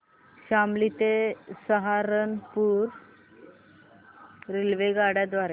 शामली ते सहारनपुर रेल्वेगाड्यां द्वारे